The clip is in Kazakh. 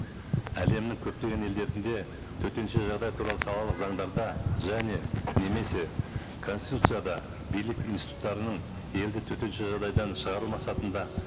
әлемнің көптеген елдерінде төтенше жағдай туралы салалық заңдарда және немесе конституцияда билік институттарының елді төтенше жағдайдан шығару мақсатында